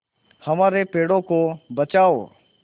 हमारे पेड़ों को बचाओ